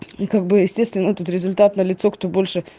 и как бы естественно этот результат налицо кто больше